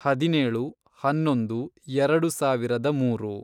ಹದಿನೇಳು, ಹನ್ನೊಂದು, ಎರೆಡು ಸಾವಿರದ ಮೂರು